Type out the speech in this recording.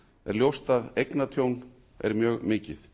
ljóst að eignatjón er mikið